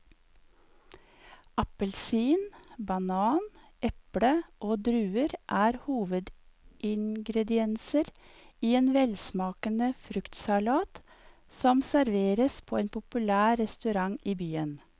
Appelsin, banan, eple og druer er hovedingredienser i en velsmakende fruktsalat som serveres på en populær restaurant i byen.